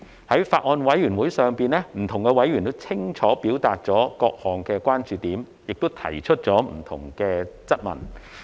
在法案委員會上，不同委員皆清楚表達了各項關注點，亦提出了不同的質問。